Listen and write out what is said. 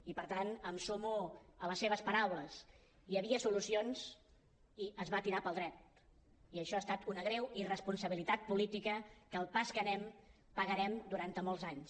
i per tant em sumo a les seves paraules hi havia solucions i es va tirar pel dret i això ha estat una greu irresponsabilitat política que al pas que anem pagarem durant molts anys